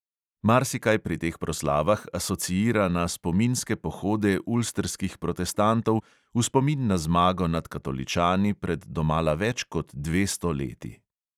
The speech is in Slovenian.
Marsikaj pri teh proslavah asociira na spominske pohode ulstrskih protestantov v spomin na zmago nad katoličani pred domala več kot dvesto leti.